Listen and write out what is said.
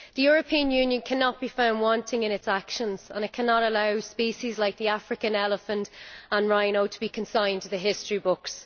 The European Union cannot be found wanting in its actions, and it cannot allow species like the African elephant and rhino to be consigned to the history books.